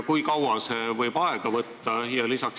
Kui kaua see võib aega võtta?